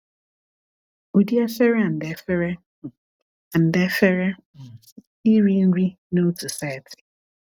Ụdị efere & efere um & efere um iri nri n’otu setị.